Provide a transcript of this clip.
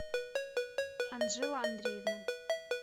анджела андреевна